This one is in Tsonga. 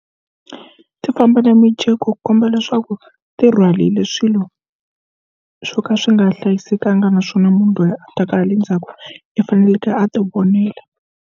Ku ti famba na mijeko ku komba leswaku ti rhwala hile swilo swo ka swi nga hlayisekanga naswona munhu loyi a ta ka ha le ndzhaku i faneleke a ti vonela.